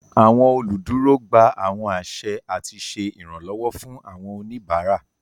Awọn oluduro gbà awọn aṣẹ ati ṣe iranlọwọ fun awọn oníbárà.